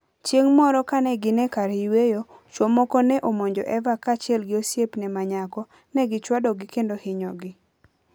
Chieng' moro kane gin e kar yueyo, chwo moko ne omonjo Eva kaachiel gi osiepne ma nyako, ne gichwadogi kendo hinyogi.